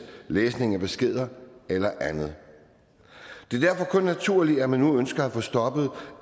læsning af beskeder eller andet det er derfor kun naturligt at man nu ønsker at få stoppet